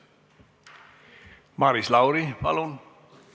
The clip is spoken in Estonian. Maris Lauri, palun!